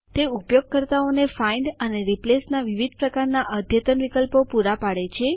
તે ઉપયોગકર્તાઓને ફાઇન્ડ શોધખોળ અને રિપ્લેસ બદલવાના વિવિધ પ્રકારના અદ્યતન એડવાંસ્ડ વિકલ્પો પુરા પાડે છે